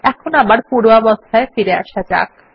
এখন আবার পূর্বাবস্থায় ফিরে আসা যাক